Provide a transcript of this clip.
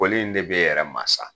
Koli in de b'ɛ yɛrɛ ma sa.